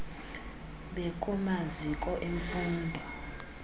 bekumaziko em fundo